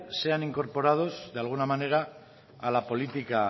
sean incorporado de alguna manera